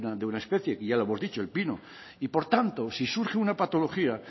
de una especie que ya lo hemos dicho el pino y por tanto si surge una patología